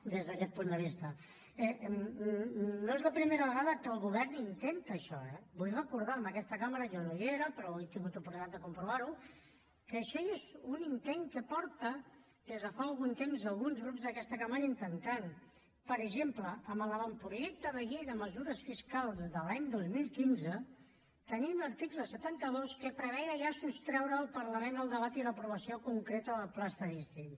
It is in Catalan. des d’aquest punt de vista no és la primera vegada que el govern intenta això eh vull recordar a aquesta cambra jo no hi era però avui he tingut oportunitat de comprovar ho que això ja és un intent que fan des de fa algun temps alguns grups d’aquesta cambra que intenten per exemple a l’avantprojecte de llei de mesures fiscals de l’any dos mil quinze tenim l’article setanta dos que preveia ja sostreure al parlament el debat i l’aprovació concreta del pla estadístic